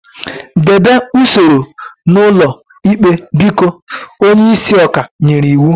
Debe usoro n'ụlọ ikpe biko! Onye isi ọka ikpe nyere iwu